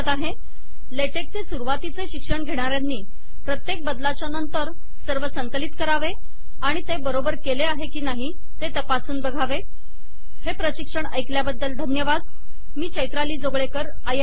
लेटेकचे सुरवातीचे शिक्षण घेणाऱ्यांनी प्रत्येक बदलाच्या नंतर सर्व संकलित करावे आणि ते बरोबर केले आहे की नाही ते तपासावे हे प्रशिक्षण ऐकल्याबद्दल धन्यवाद मी चैत्राली जोगळेकर आपली रजा घेते